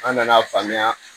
An nana faamuya